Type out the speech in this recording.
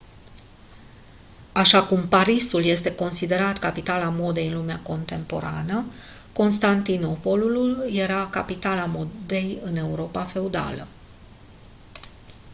așa cum parisul este considerat capitala modei în lumea contemporană constantinopolul era capitala modei în europa feudală